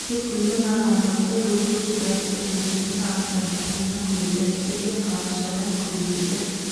тек гүлмен ғана айналыспай бұл жерде декоративті және жеміс ағаштарын тұқымынан көбейту әдістерін және қаламшадан көбейтуді